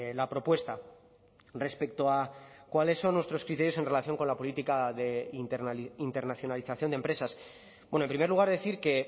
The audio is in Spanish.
la propuesta respecto a cuáles son nuestros criterios en relación con la política de internacionalización de empresas bueno en primer lugar decir que